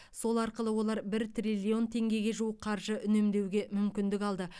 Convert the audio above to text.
сол арқылы олар бір триллион теңгеге жуық қаржы үнемдеуге мүмкіндік алды